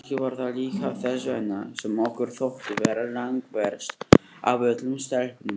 Kannski var það líka þess vegna sem okkur þótti þetta langverst af öllum stelpunum.